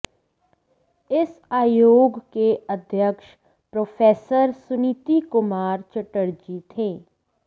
इस आयोग के अध्यक्ष प्रोफेसर सुनीति कुमार चटर्जी थे